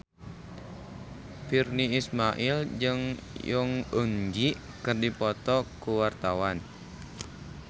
Virnie Ismail jeung Jong Eun Ji keur dipoto ku wartawan